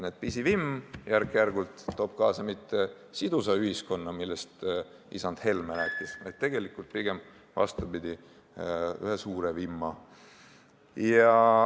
Ja pisivimm ei too järk-järgult kaasa mitte sidusat ühiskonda, millest isand Helme rääkis, vaid pigem vastupidi, lõpuks tekib suur vimm.